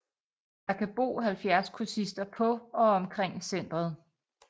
Der kan bo 70 kursister på og omkring centret